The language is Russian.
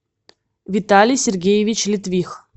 виталий сергеевич литвих